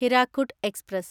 Hirakud express